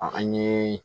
An ɲe